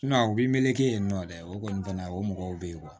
u b'i meleke yen nɔ dɛ o kɔni fɛnɛ o mɔgɔw be yen